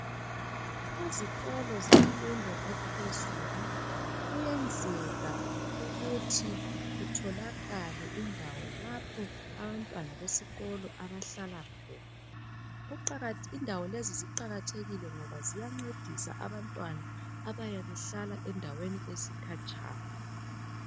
Ezikolo zemfundo ephezulu kuyenzeka ukuthi kutholakale indawo lapho abantwana besikolo abahlala khona .Indawo lezi ziqalathekile ziya ncedisa abantwana abayabe behlala endaweni ezikhatshana .